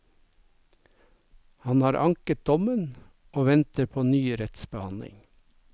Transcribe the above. Han har anket dommen, og venter på ny rettsbehandling.